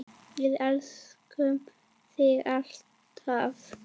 Við elskum þig, alltaf.